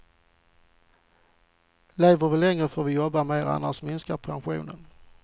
Lever vi längre får vi jobba mer, annars minskar pensionen.